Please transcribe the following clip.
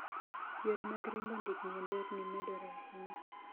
Yore mag riembo ndigni e nderni medore ahinya.